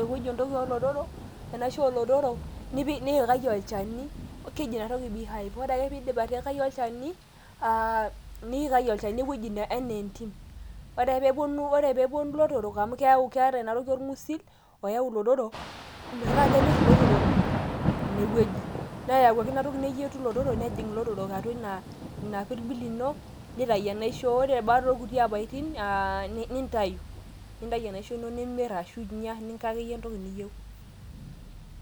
ewueji oolotorok. enaisho oolotorok, nipikaki olchani, keji ina toki beehive ore eka pee iidip atiikaki olchani niikaki olchani otii uweji anaa enyim. ore ake pee epuonu ilotorok amu keyau keeta ina toki orng'usil oyau ilotorok metaa kenyor ilotorok ine wueji, neyau ake inatoki neyietu ilotorok, ore baa da oo nkuti olong'iashu ilpaitin nitayu ilotorok eniaisho, nintayu amir ashu inyia.